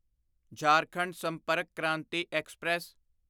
Jharkhand Sampark Kranti express